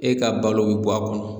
E ka balo bɛ bɔ a kɔnɔ